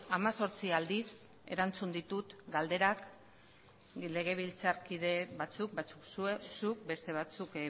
hemezortzi aldiz erantzun ditut galderak legebiltzarkide batzuei batzuk zuk beste batzuk